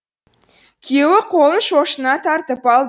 күйеуі қолын шошына тартып алды